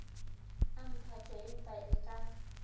a mphato empa e ka